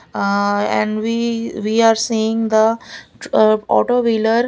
aah and we we are seeing the tru auto wheeler --